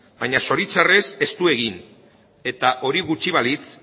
baina zoritxarrez ez du egin eta hori gutxi balitz